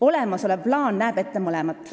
Olemasolev plaan näeb ette mõlemat.